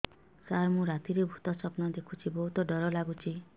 ସାର ମୁ ରାତିରେ ଭୁତ ସ୍ୱପ୍ନ ଦେଖୁଚି ବହୁତ ଡର ଲାଗୁଚି